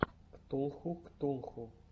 ктулху ктулху